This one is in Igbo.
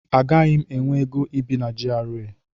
Agaghị m enwe ego ibi na GRA.